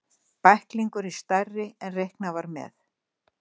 Bæklingurinn stærri en reiknað var með